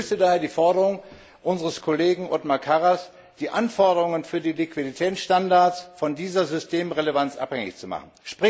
Ich begrüße daher die Forderung unseres Kollegen Othmar Karas, die Anforderungen für die Liquiditätsstandards von dieser Systemrelevanz abhängig zu machen.